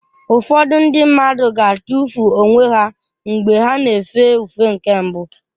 Ụfọdụ ndị mmadụ ga-atụfu onwe ha mgbe ha na-efe ufe nke mbụ.